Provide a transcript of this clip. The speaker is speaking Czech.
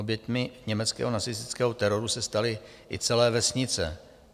Oběť německého nacistického teroru se staly i celé vesnice.